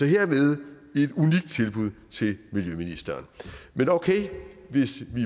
hermed et unikt tilbud til miljøministeren men okay hvis vi